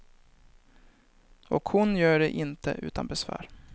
Och hon gör det inte utan besvär.